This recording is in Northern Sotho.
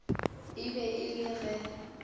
e be e le ge